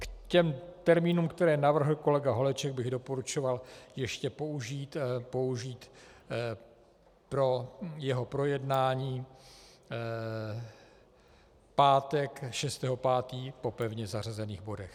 K těm termínům, které navrhl kolega Holeček, bych doporučoval ještě použít pro jeho projednání pátek 6. 5. po pevně zařazených bodech.